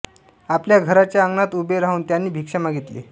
आपल्या घराच्या अंगणात उभे राहून त्यांनी भिक्षा मागितली